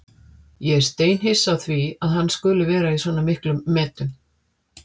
Ég er steinhissa á því að hann skuli vera í svona miklum metum.